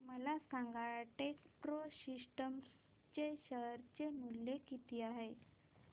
मला सांगा Techpro systems चे शेअर मूल्य किती आहे